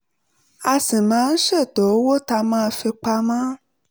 a sì máa ń ṣètò owó tá a máa fi pa mọ́